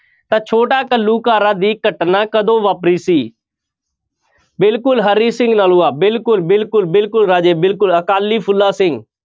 ਤਾਂ ਛੋਟਾ ਘੱਲੂਘਾਰਾ ਦੀ ਘਟਨਾ ਕਦੋਂ ਵਾਪਰੀ ਸੀ ਬਿਲਕੁਲ ਹਰੀ ਸਿੰਘ ਨਲੂਆ ਬਿਲਕੁਲ ਬਿਲਕੁਲ ਬਿਲਕੁਲ ਰਾਜੇ ਬਿਲਕੁਲ ਅਕਾਲੀ ਫੂਲਾ ਸਿੰਘ।